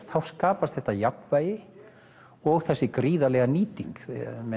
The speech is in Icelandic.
þá skapast þetta jafnvægi og þessi nýting